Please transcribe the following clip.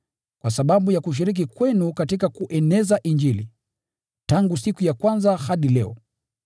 kwa sababu ya kushiriki kwenu katika kueneza Injili, tangu siku ya kwanza hadi leo.